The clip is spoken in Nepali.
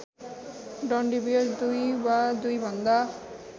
डन्डीबियो दुई वा दुईभन्दा